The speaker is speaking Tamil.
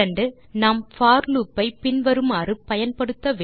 நாம் போர் லூப் ஐ பின்வருமாறு பயன்படுத்த வேண்டும்